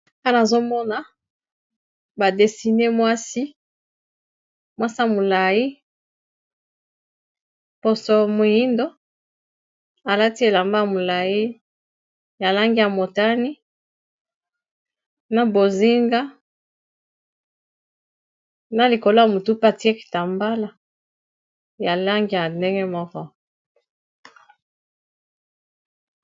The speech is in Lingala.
Awa nazomona ba dessiné mwasi, mwasi ya molayi poso moyindo alati elamba ya molayi ya langi ya motani na bozinga na likolo ya mutu atiye kitambala ya langi ya ndenge moko.